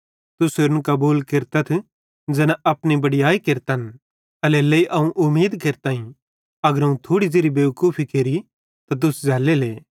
तुस होरन कबूल केरतथ ज़ैना अपनी बड़याई केरतन ते एल्हेरेलेइ अवं उमीद केरतां अगर अवं थोड़ी ज़ेरि बेवकूफी केरि त तुस झ़ैल्ले